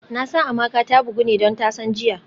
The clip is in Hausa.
Nasan Amaka ta bugu ne don tasan jiya